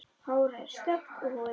Hárið er stökkt og húðin.